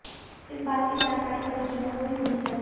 इस बात की जानकारी परिजनों को भी होनी चाहिए